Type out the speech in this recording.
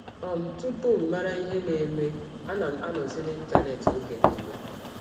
um Tụpụ m mara ihe na - eme, ana m anọzi n’Ịntanet ọge niile.